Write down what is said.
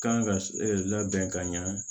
Kan ka labɛn ka ɲɛ